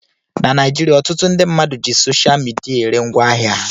Na Naijiria, ọtụtụ ndị mmadụ ji sosha midia ere ngwaahịa ha